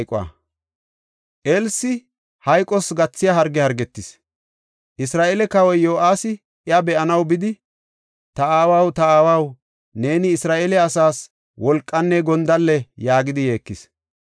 Elsi hayqos gathiya harge hargetis; Isra7eele kawoy Yo7aasi iya be7anaw bidi, “Ta aawaw; ta aawaw, neeni Isra7eele asaas wolqanne gondalle!” yaagidi yeekis.